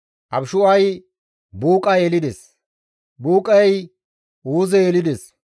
Abishu7ay Buuqa yelides; Buuqay Uuze yelides;